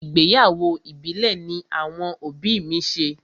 Ìgbéyàwó ìbílẹ̀ ní àwọn òbí mi ṣe.